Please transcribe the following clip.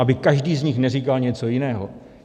Aby každý z nich neříkal něco jiného.